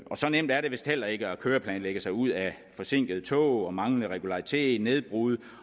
så nemt er det vist heller ikke at køreplanlægge sig ud af forsinkede tog manglende regularitet nedbrud